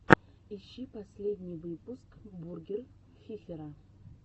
ищи последний выпуск бургер фифера